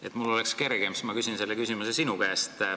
Et mul oleks kergem, siis ma küsin selle küsimuse sinu käest.